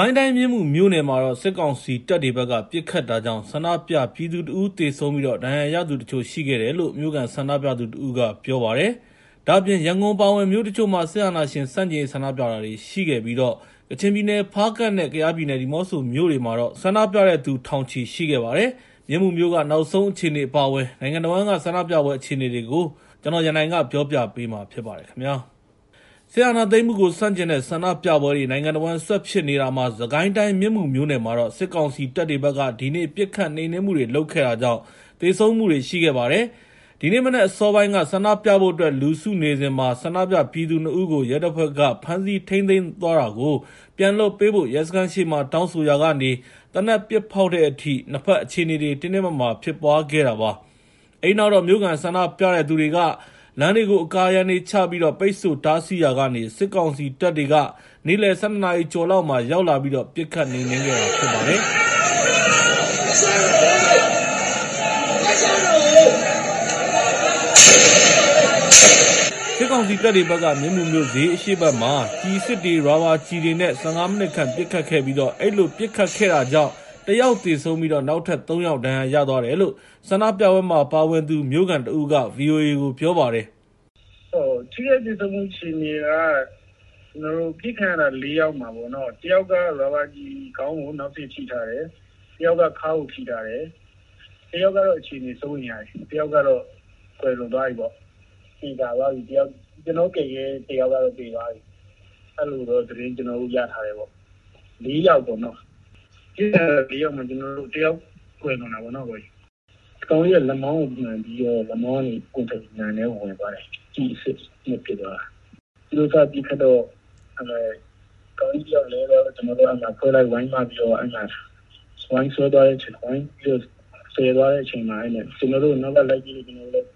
ိုင်းတိုင်း မြင်းမူမြို့နယ်မှာတော့ စစ်ကောင်စီတပ်တွေဘက်က ပစ်ခတ်တာကြောင့် ဆန္ဒပြပြည်သူ ၁ ဦး သေဆုံးပြီး ဒဏ်ရာရသူတချို့ ရှိတယ်လို့ မြို့ခံဆန္ဒပြသူတဦးက ပြောပါတယ်။ ဒါ့အပြင် ရန်ကုန်အပါအဝင် မြို့တချို့မှာ စစ်အာဏာရှင်ဆန့်ကျင်ရေး ဆန္ဒပြတာတွေ ရှိခဲ့ပြီး ကချင်ပြည်နယ် ဖားကန့်နဲ့ ကယားပြည်နယ် ဒီမောဆိုမြို့တွေမှာတော့ ဆန္ဒပြတဲ့သူတွေ ထောင်နဲ့ချီရှိခဲ့တယ်လို့ ဆိုပါတယ်။ မြင်းမူမြို့က နောက်ဆုံးအခြေအနေ အပါအဝင် နိုင်ငံတဝန်းက ဆန္ဒပြပွဲ အခြေအနေတွေကို ကိုရန်နိုင်က စုစည်းတင်ပြထားပါတယ်။ စစ်အာဏာသိမ်းမှုကို ဆန့်ကျင်တဲ့ ဆန္ဒပြပွဲတွေ နိုင်ငံတဝန်း ဆက်ဖြစ်နေတာမှာ စစ်ကိုင်းတိုင်း မြင်းမူမြို့နယ်မှာတော့ စစ်ကောင်စီတပ်တွေဘက်က ဒီနေ့ ပစ်ခတ်နှိမ်နင်းမှုတွေ လုပ်ခဲ့တာကြောင့် သေဆုံးမှုတွေ ရှိခဲ့ပါတယ်။ ဒီနေ့မနက် အစောပိုင်းက ဆန္ဒပြဖို့အတွက် လူစုနေစဉ် ဆန္ဒပြပြည်သူ ၂ ဦးကို ရဲတပ်ဖွဲ့က ဖမ်းဆီးသွားတာကို ပြန်လွှတ်ပေးဖို့ ရဲစခန်းရှေ့မှာ တောင်းဆိုရာကနေ သေနတ်ပစ်ဖောက်တဲ့အထိ နှစ်ဖက် အခြေအနေတွေ တင်းတင်းမာမာ ဖြစ်ပွားခဲ့တာပါ။ အဲဒီနောက်တော့ မြို့ခံဆန္ဒပြတဲ့သူတွေက လမ်းတွေကို အကာအရံတွေချပြီး ပိတ်ဆို့တားဆီးရာကနေ စစ်ကောင်စီတပ်တွေ နေ့လယ် ၁၂ ကျော်လောက်မှာ ရောက်လာပြီးတော့ ပစ်ခတ်နှိမ်နင်းခဲ့တာပါ။ စစ်ကောင်စီတပ်တွေဘက်က မြင်းမူမြို့ ဈေးအရှေ့ဘက်မှာ ကျည်အစစ်တွေ၊ ရာဘာကျည်တွေနဲ့ ၁၅ မိနစ်ခန့် ပစ်ခတ်ခဲ့ပြီး အဲဒီလို ပစ်ခတ်တာကြောင့် ၁ ယောက်သေဆုံးပြီး နောက်ထပ် ၃ ယောက် ဒဏ်ရာရသွားတယ်လို့ ဆန္ဒပြပွဲမှာ ပါဝင်သူ မြို့ခံတဦးက ဗွီအိုအေကို ပြောပါတယ်။ “ထိခိုက်သေဆုံးမှု အခြေအနေက အပစ်ခံထားရတာ ၄ ယောက်မှာ တယောက်က ရာဘာကျည် ခေါင်းကို နောက်စေ့ထိထားတယ်၊ တယောက်က ခါးကိုထိထားတယ်၊ တယောက်ကတော့ အခြေအနေ စိုးရိမ်ရတယ်၊ တယောက်ကတော့ ကွယ်လွန်သွားပြီပေါ့။ သေချာသွားပြီ ကျနော်တို့ကယ်ခဲ့တဲ့ တယောက်ကတော့ သေသွားပြီ။ အဲဒီလိုတော့ ကျနော်တို့ သတင်းရထားတယ်။ ပစ်ခံရတာ ၄ ယောက်မှာ ၁ ယောက် ကွယ်လွန်တာပေါ့။ ကောင်လေးက လက်မောင်းကိုမှန်ပြီးတော့ လက်မောင်းကနေ ပွင့်ထွက်ပြီး နံထဲဝင်သွားတယ်။ ကျည်အစစ်နဲ့ ပစ်သွားတာ။ သူတို့ဘက်က ပစ်ခတ်တော့ ကောင်လေးတယောက်လဲသွားတော့ ကျနော်တို့က အတွဲလိုက် ဝိုင်းမပြီးတော့ သယ်သွားတဲ့အချိန်မှာ ကျနော်တို့ကို နောက်ကနေ လိုက်ပစ်လို့ ကျနော်တို့လည်း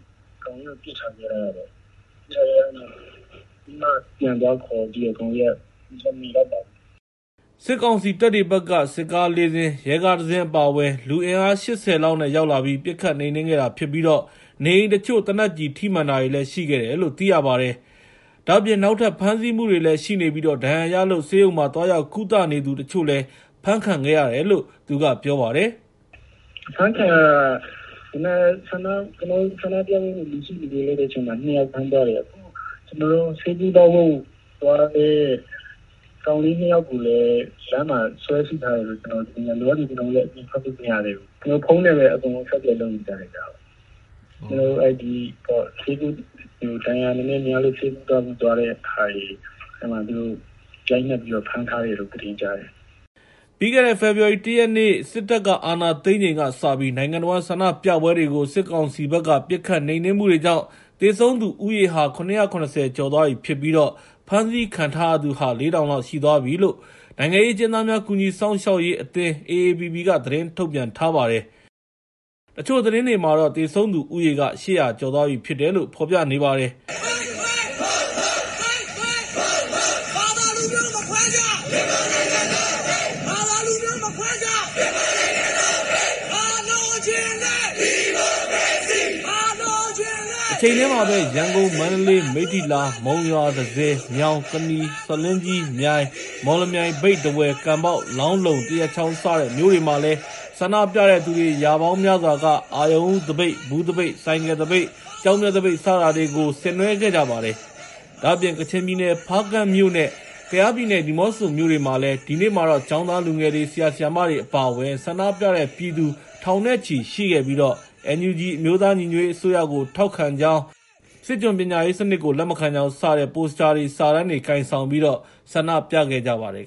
ကောင်လေးကို ပစ်ထားခဲ့ရတာပေါ့။ ခုနမှ ပြန်သွားခေါ်တော့ မမီလိုက်ပါဘူး။” စစ်ကောင်စီတပ်တွေဘက်က စစ်ကား ၄ စင်း၊ ရဲကား ၁ စင်း အပါအဝင် လူအင်အား ၈၀ လောက်နဲ့ ရောက်လာပြီး ပစ်ခတ်နှိမ်နင်းခဲ့တာဖြစ်ပြီး နေအိမ်တချို့ သေနတ်ကျည်ထိမှန်တာတွေလည်း ရှိခဲ့တယ်လို့ သိရပါတယ်။ ဒါ့အပြင် နောက်ထပ် ဖမ်းဆီးမှုတွေလည်း ရှိနေပြီး ဒဏ်ရာရလို့ ဆေးရုံမှာ သွားရောက်ကုသနေသူတချို့ အဖမ်းခံရတယ်လို့လည်း သူက ပြောပါတယ်။ “ဖမ်းခံရတာက ကျနော်တို့ ဆန္ဒပြဖို့ လူစုလူဝေးလုပ်တဲ့အချိန်မှာ ၂ ယောက် ဖမ်းသွားတယ်။ ဆေးကုသဖို့သွားတဲ့ ကောင်လေး ၂ ယောက်ကိုလည်း လမ်းမှာ ဆွဲစိထားတယ်လို့ ကြားတယ်။ လောလောဆယ် ကျနော်တို့ အပြင်ထွက်လို့ မရသေးဘူး၊ ဖုန်းနဲ့ပဲ အားလုံး အဆက်အသွယ် လုပ်နေကြတယ်ဗျ။ ဒဏ်ရာနည်းနည်းများလို့ ဆေးကုဖို့သွားတဲ့သူတွေကိုတော့ ရိုက်နှက်ပြီးတော့ ဖမ်းထားတယ်လို့ ကျနော်တို့ ကြားတယ်။” ပြီးခဲ့တဲ့ ဖေဖော်ဝါရီ ၁ ရက်နေ့ စစ်တပ်အာဏာသိမ်းချိန်ကစပြီး နိုင်ငံတဝန်းက ဆန္ဒပြပွဲတွေကို စစ်ကောင်စီဘက်က ပစ်ခတ်နှိမ်နင်းမှုတွေကြောင့် သေဆုံးသူဦးရေဟာ ၇၇၀ ကျော်သွားပြီဖြစ်ပြီး ဖမ်းဆီးခံထားရသူဟာ ၄,၀၀၀ လောက်ရှိသွားပြီဖြစ်တယ်လို့ နိုင်ငံရေးအကျဉ်းသားများ ကူညီစောင့်ရှောက်ရေးအသင်း (AAPP) က သတင်းထုတ်ပြန်ထားပါတယ်။ တချို့သတင်းတွေမှာတော့ သေဆုံးသူက ၈၀၀ ကျော်သွားပြီဖြစ်တယ်လို့ ပြောပါတယ်။ တချိန်တည်းမှာပဲ ရန်ကုန်၊ မန္တလေး၊ မိတ္ထီလာ၊ မုံရွာ၊ တန့်ဆည်၊ မြောင်၊ ကနီ၊ ဆားလင်းကြီး၊ မြိုင်၊ မော်လမြိုင်၊ မြိတ်၊ ထားဝယ်၊ ကန်ဘောက်၊ လောင်းလုံ၊ သရက်ချောင်း စတဲ့မြို့တွေမှာလည်း ဆန္ဒပြတဲ့သူ ရာပေါင်းများစွာက အရုဏ်ဦးသပိတ်၊ ဘူးသပိတ်၊ ဆိုင်ကယ်သပိတ်၊ ကျောက်မျက်သပိတ် စတာတွေကို ဆင်နွဲှခဲ့ကြပါတယ်။ ဒါ့အပြင် ကချင်ပြည်နယ် ဖားကန့်မြို့နဲ့ ကယားပြည်နယ် ဒီမောဆိုမြို့တွေမှာတော့ ဒီနေ့မှာ ကျောင်းသားလူငယ်တွေ၊ ဆရာ ဆရာမတွေ အပါအဝင် ဆန္ဒပြတဲ့သူတွေ ထောင်နဲ့ချီရှိခဲ့ပြီး NUG အမျိုးသားညီညွတ်ရေးအစိုးရကို ထောက်ခံကြောင်း၊ စစ်ကျွန်ပညာရေးစနစ်ကို လက်မခံကြောင်း စတဲ့ ပိုစတာတွေ၊ စာတန်းတွေ ကိုင်ဆောင်ပြီး ဆန္ဒပြခဲ့ကြပါတယ်